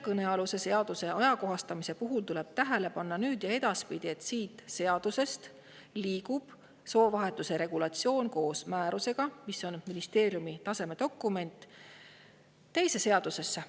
Kõnealuse seaduse ajakohastamise juures tuleb tähele panna, nüüd ja edaspidi, et soovahetuse regulatsioon liigub koos määrusega, mis on ministeeriumi taseme dokument, teise seadusesse.